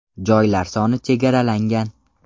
Joylar soni chegaralangan!